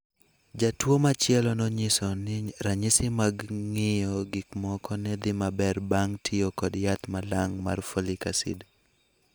Jatuo machielo nonyiso ni ranyisi mag ng�iyo gik moko ne dhi maber bang� tiyo kod yath malang' mar folic acid.